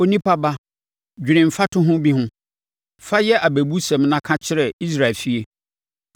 “Onipa ba, dwene mfatoho bi ho, fa yɛ abɛbusɛm na ka kyerɛ Israel efie.